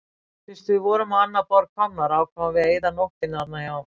Fyrst við vorum á annað borð komnar ákváðum við að eyða nóttinni þarna hjá